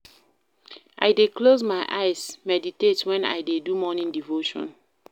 I dey close my eyes, meditate wen I dey do morning devotion.